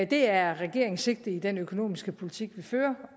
det er regeringens sigte i den økonomiske politik vi fører